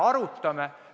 Arutame!